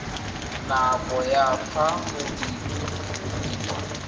nako ya fa go diriwa